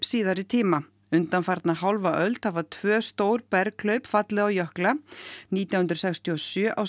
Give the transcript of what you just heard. síðari tíma undanfarna hálfa öld hafa tvö stór fallið á jökla nítján hundruð sextíu og sjö á